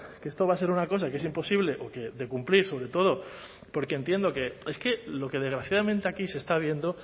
que esto va a ser una cosa que es imposible o que de cumplir sobre todo porque entiendo que es que lo que desgraciadamente aquí se está viendo